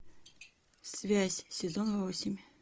связь сезон восемь